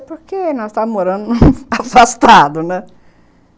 Porque nós estávamos morando afastado, né?